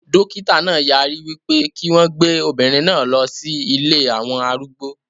Dókítà náà yarí wípé kí wọn gbé obìnrin náà lọ sí ilée àwọn arúgbó